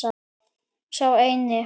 Sá eini.